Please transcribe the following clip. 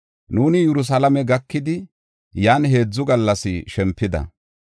Nuuni Yerusalaame gakidi, yan heedzu gallas shempida.